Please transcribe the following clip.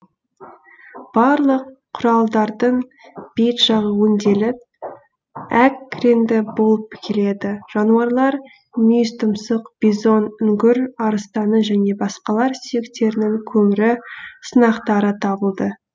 барлық кұралдардың бет жағы өңделіп әк реңді болып келеді жануарлар мүйізтұмсық бизон үңгір арыстаны және басқалар сүйектерінің көмірі сынақтары табылды